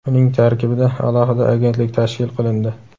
uning tarkibida alohida agentlik tashkil qilindi.